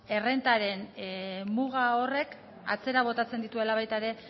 errentaren muga horrek atzera botatzen dituela baita ere